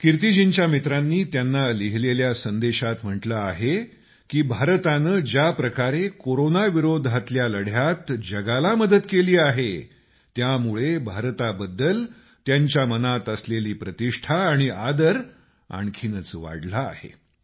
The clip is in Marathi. कीर्तिजींच्या मित्रांनी त्यांना लिहिलेल्या संदेशात म्हटलं आहे की भारतानं ज्या प्रकारे कोरोनाविरोधातल्या लढ्यात जगाला मदत केली आहे त्यामुळे भारताबद्दल त्यांच्या मनात असलेली प्रतिष्ठा आणि आदर आणखीच वाढला आहे